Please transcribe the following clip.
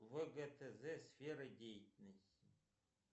вгтз сферы деятельности